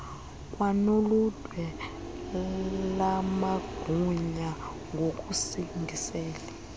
kwanoludwe lamagunya ngokusingisele